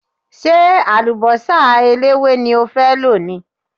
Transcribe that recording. Ṣé àlùbọ́sà eléwé ni o fẹ́ lò ni?